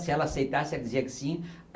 Se ela aceitasse, ela dizia que sim.